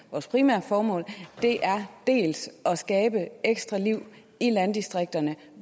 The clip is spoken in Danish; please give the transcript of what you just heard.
vores primære formål er dels at skabe ekstra liv i landdistrikterne